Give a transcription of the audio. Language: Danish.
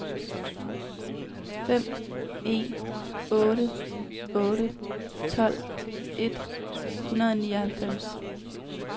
fem en otte otte tolv et hundrede og nioghalvfems